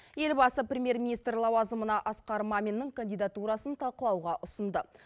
елбасы премьер министрі лауазымына асқар маминнің кандидатурасын талқылауға ұсынды